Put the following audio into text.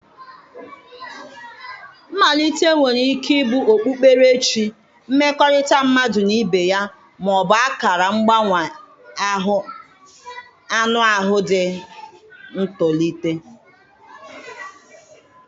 Mmalite nwere ike ịbụ okpukperechi, mmekọrịta mmadụ na ibe ya, ma ọ bụ akara mgbanwe anụ ahụ dị ka ntolite.